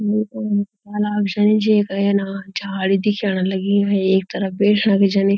अनाम शई जैका ऐना झाड़ी दिखेणा लगीं वि एक तरफ बैठणा भी छनी।